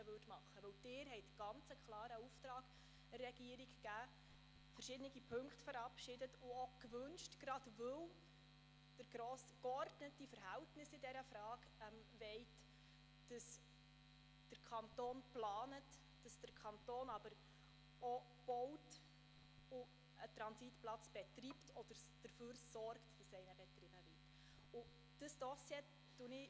Denn Sie haben der Regierung einen ganz klaren Auftrag erteilt, verschiedene Punkte verabschiedet und auch gewünscht – gerade, weil Sie in dieser Frage geordnete Verhältnisse wollen –, dass der Kanton plant, aber auch baut und einen Transitplatz betreibt oder dafür sorgt, dass einer betrieben wird.